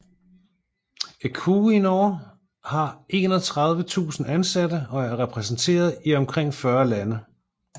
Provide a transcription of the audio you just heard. Equinor har 31 000 ansatte og er repræsenteret i omkring 40 lande